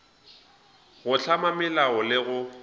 go hlama melao le go